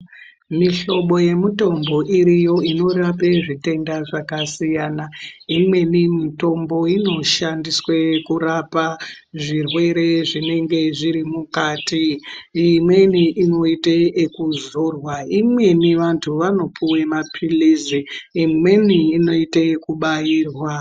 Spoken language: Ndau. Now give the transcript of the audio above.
Mihlobo yemutombo iriyo inorape zvitenda zvakasiyana imweni mitombo inoshandiswe kurapa zvirwere zvinenge zviri mukati imweni inoite ekuzorwa, imweni vantu vanopiwe mapiritsi imweni inoite kubairwa .